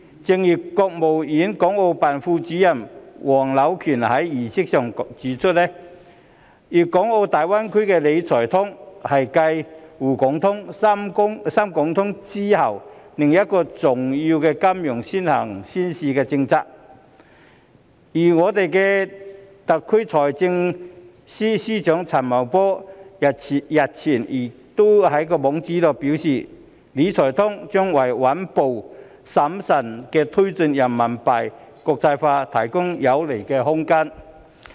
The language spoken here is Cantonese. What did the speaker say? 正如國務院港澳辦副主任黃柳權在儀式上指出，粵港澳大灣區的"理財通"是繼"滬港通"、"深港通"之後另一個重要的金融先行先試政策，而我們特區的財政司司長陳茂波日前亦在其網誌表示，"理財通"將為穩步審慎地推進人民幣國際化提供有利空間。